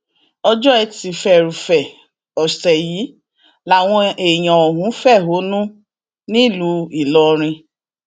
ọjọ etí furuufee ọsẹ yìí làwọn èèyàn ọhún fẹhónú nílùú ìlọrin